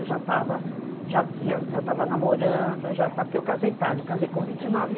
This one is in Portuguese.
Eu já estava já já estava namorando, eu já estava, porque eu casei tarde, eu casei com vinte e nove anos.